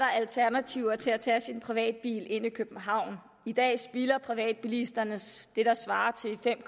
der alternativer til at tage sin privatbil ind til københavn i dag spilder privatbilisterne det der svarer til fem